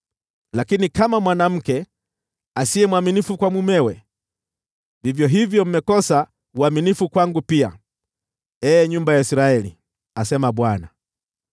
Lakini kama mwanamke asiye mwaminifu kwa mumewe, vivyo hivyo mmekosa uaminifu kwangu pia, ee nyumba ya Israeli,” asema Bwana .